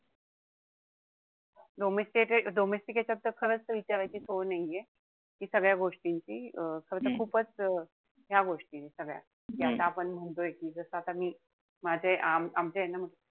domistic यांच्यात तर खरंच विचारायची सोय नाहीये. कि सगळ्या गोष्टींची खरं तर खूपच ह्या गोष्टी सगळ्या. ज्या आता आपण म्हणतोय कि जर आता मी माझे आमचे यांना,